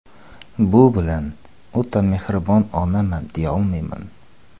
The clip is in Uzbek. Bu bilan o‘ta mehribon onaman deyolmayman.